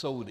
Soudy.